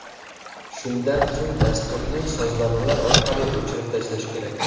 Shundan so‘ng dasturni sozlamalar orqali o‘chirib tashlash kerak.